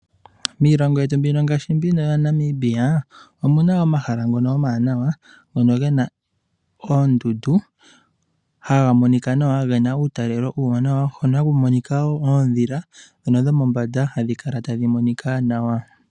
Miilongo yetu ngaashi Namibia omuna omahala ngono omawanawa gena oondundu haga monika nawa gena uutalelo uuwanawa. Ohaku monika woo oondhila dhomombanda hadhi kala tadhi monika nawa.